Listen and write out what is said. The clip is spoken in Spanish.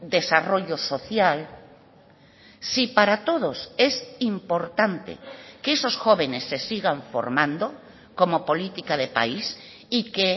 desarrollo social si para todos es importante que esos jóvenes se sigan formando como política de país y que